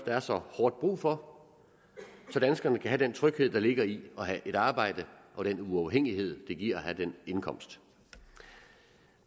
er så hårdt brug for så danskerne kan have den tryghed der ligger i at have et arbejde og den uafhængighed det giver at have en indkomst